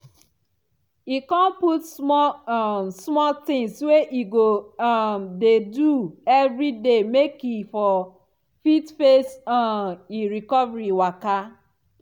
she con put small um small tings wey e go um dey do everyday make e for fit face um e recovery waka.